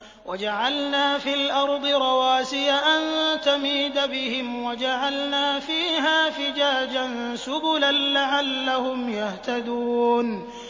وَجَعَلْنَا فِي الْأَرْضِ رَوَاسِيَ أَن تَمِيدَ بِهِمْ وَجَعَلْنَا فِيهَا فِجَاجًا سُبُلًا لَّعَلَّهُمْ يَهْتَدُونَ